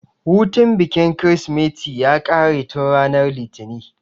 Hutun bikin kirismeti ya ƙare tun ranar litinin